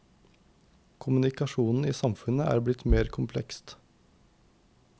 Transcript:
Kommunikasjonen i samfunnet blir mer komplekst.